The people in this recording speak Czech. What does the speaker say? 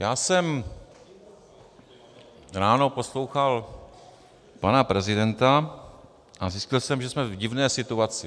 Já jsem ráno poslouchal pana prezidenta a zjistil jsem, že jsme v divné situaci.